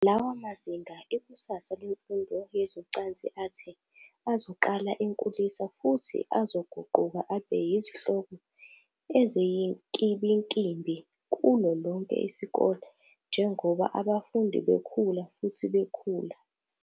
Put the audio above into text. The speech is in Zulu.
Lawa mazinga, Ikusasa Lemfundo Yezocansi athi, azoqala enkulisa futhi azoguquka abe yizihloko eziyinkimbinkimbi kulo lonke isikole njengoba abafundi bekhula futhi bekhula.